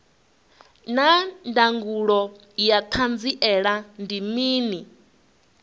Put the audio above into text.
naa ndangulo ya hanziela ndi mini